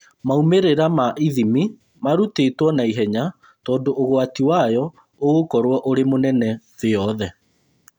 Maumĩrĩra ma ithimi marutĩtwo naihenya tondũ ũgwati wayo ũgũkorwo ũrĩ mũnene thĩ yothe